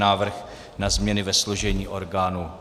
Návrh na změny ve složení orgánů